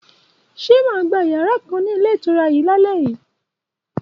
Ṣó mà gbà yàrà kan ni ilé ìtura yìí laleyi?